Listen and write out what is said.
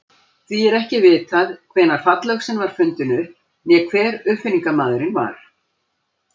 Því er ekki vitað hvenær fallöxin var fundin upp né hver uppfinningamaðurinn var.